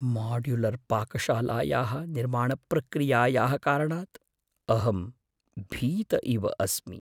माड्युलर्पाकशालायाः निर्माणप्रक्रियायाः कारणात् अहं भीत इव अस्मि।